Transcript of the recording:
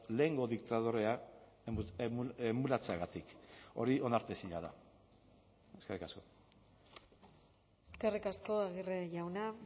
lehengo diktadorea emulatzeagatik hori onartezina da eskerrik asko eskerrik asko aguirre jauna